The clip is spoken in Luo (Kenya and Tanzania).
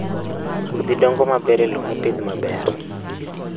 Kodhi dongo maber e lowo mopidh maber.